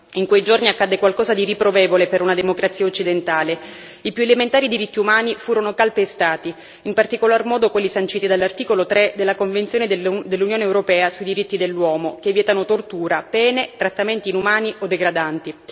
In quei giorni accadde qualcosa di riprovevole per una democrazia occidentale i più elementari diritti umani furono calpestati, in particolar modo quelli sanciti dall'articolo 3 della Convenzione dell'Unione europea sui diritti dell'uomo che vietano tortura, pene, trattamenti inumani o degradanti.